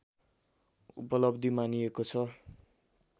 उपलब्धी मानिएको छ